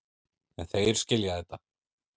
En þeir skilja þetta.